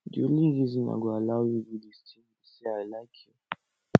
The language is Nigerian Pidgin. the only reason i go allow you do dis thing be say i like you